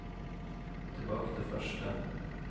tilbake til første